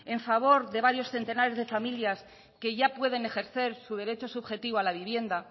en favor de varios centenares de familias que ya pueden ejercer su derecho subjetivo a la vivienda